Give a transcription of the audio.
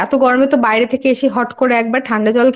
আচ্ছা আচ্ছা গরমের জন্য আর এই গরমে বাইরে থেকে এসে হট করে একবার খুব ঠাণ্ডা